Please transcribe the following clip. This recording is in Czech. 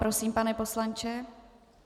Prosím, pane poslanče.